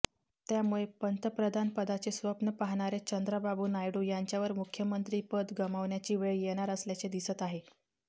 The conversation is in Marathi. त्यामुळे पंतप्रधानपदाचे स्वप्न पाहणारे चंद्राबाबू नायडू यांच्यावर मुख्यमंत्री पद गमावण्याची वेळ येणार असल्याचे दिसत आहे